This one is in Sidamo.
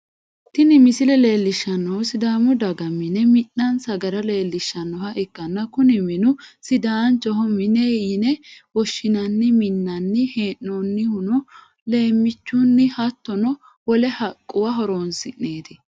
Tinni misile leelishanohu sidaamu daga mine mi'nase gara leelishanoha ikanna kunni minu sidaancho mine yine woshinnanni minnanni hee'noonnihuno leemiichunni hattono wole haquwa horoonsi'neeti.